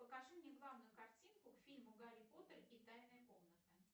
покажи мне главную картинку к фильму гарри поттер и тайная комната